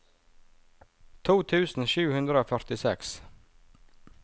to tusen sju hundre og førtiseks